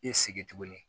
I sigi tuguni